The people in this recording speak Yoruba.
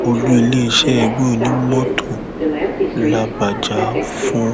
sẹńtítọ ìyọlọ ọmiṣọrẹ fẹẹ